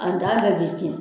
An t'a kɛ